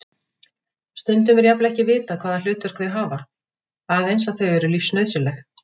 Stundum er jafnvel ekki vitað hvaða hlutverk þau hafa, aðeins að þau eru lífsnauðsynleg.